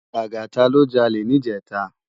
Lagata lò jàlé nijètá